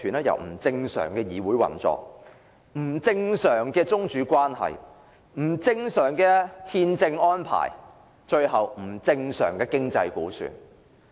由不正常的議會運作、不正常的宗主關係、不正常的憲政安排，到最後不正常的經濟估算。